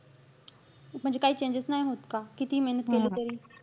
म्हणजे काहीच changes नाही होत का? कितीही मेहनत केलं तरी?